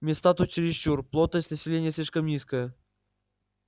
места тут чересчур плотность населения слишком низкая